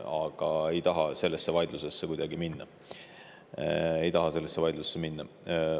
Aga ma ei taha kuidagi sellesse vaidlusesse minna.